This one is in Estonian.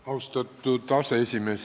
Austatud aseesimees!